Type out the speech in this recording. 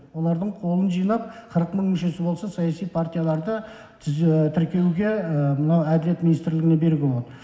олардың қолын жинап қырық мың мүшесі болса саяси партияларды тіркеуге мына әділет министрлігіне беруге болады